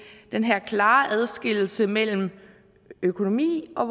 den her klare adskillelse mellem økonomi og